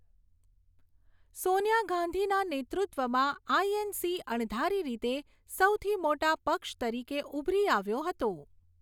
સોનિયા ગાંધીના નેતૃત્વમાં આઇએનસી અણધારી રીતે સૌથી મોટા પક્ષ તરીકે ઉભરી આવ્યો હતો.